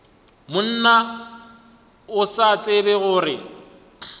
monna o sa tsebe gore